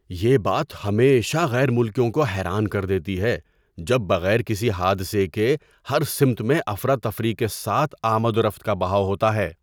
یہ بات ہمیشہ غیر ملکیوں کو حیران کر دیتی ہے جب بغیر کسی حادثے کے ہر سمت میں افراتفری کے ساتھ آمد و رفت کا بہاؤ ہوتا ہے۔